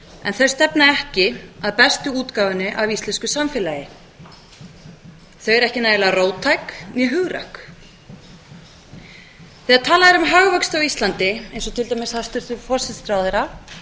en þau stefna ekki að bestu útgáfunni af íslensku samfélagi þau eru ekki nægilega róttæk né hugrökk þegar talað er um hagvöxt á íslandi eins og til dæmis hæstvirtur forsætisráðherra